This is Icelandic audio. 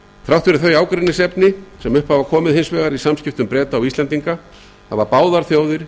þrátt fyrir þau ágreiningsefni sem upp hafa komið í samskiptum breta og íslendinga hafa báðar þjóðir